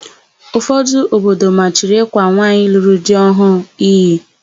Ụfọdụ obodo machiri ịkwa nwaanyị lụrụ di ọhụụ iyi.